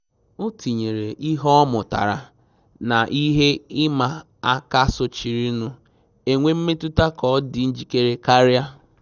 O tinyere ihe ọ mụtara na ihe ịma aka sochirinu, enwe mmetụta ka ọ dị njikere karịa